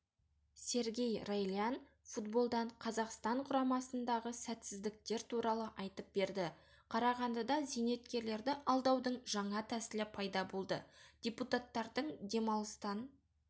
сергей райлян футболдан қазақстанқұрамасындағысәтсіздіктер туралы айтып берді қарағандыда зейнеткерлерді алдаудың жаңа тәсілі пайда болды депутаттардың демалыстан